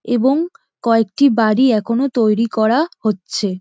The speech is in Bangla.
এবং কয়েকটি বাড়ি এখনো তৈরি করা হচ্ছে।